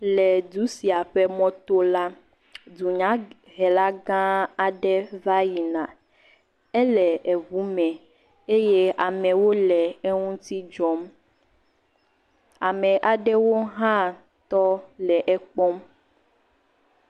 Le edu sia ƒe mɔto la, dunyahela gãã aɖe va yina. Ele eŋume eye amewo le eŋuti dzɔm. Ame aɖewo hã tɔ le ekpɔm.